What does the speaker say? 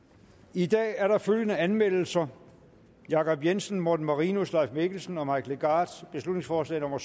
i dag er der følgende anmeldelser jacob jensen morten marinus leif mikkelsen og mike legarth beslutningsforslag nummer